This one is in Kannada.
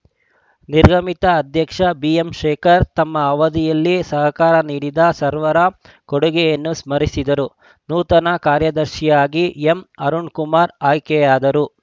ನಿರ್ಗಮಿತ ಅಧ್ಯಕ್ಷ ಬಿಎ ಶೇಖರ್‌ ತಮ್ಮ ಅವಧಿಯಲ್ಲಿ ಸಹಕಾರ ನೀಡಿದ ಸರ್ವರ ಕೊಡುಗೆಯನ್ನು ಸ್ಮರಿಸಿದರು ನೂತನ ಕಾರ್ಯದರ್ಶಿಯಾಗಿ ಎಂಅರುಣ್‌ಕುಮಾರ್‌ ಆಯ್ಕೆಯಾದರು